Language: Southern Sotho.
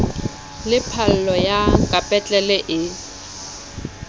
le phallo ya kapetlele e